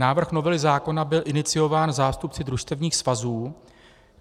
Návrh novely zákona byl iniciován zástupci družstevních svazů.